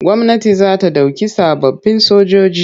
Gwamnati za ta ɗauki sababbin sojoji.